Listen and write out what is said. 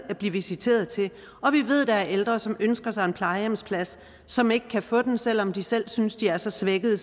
at blive visiteret til og vi ved at der er ældre som ønsker sig en plejehjemsplads som ikke kan få den selv om de selv synes de er så svækkede